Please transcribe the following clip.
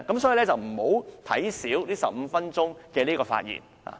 所以，大家不應小看這15分鐘發言時間。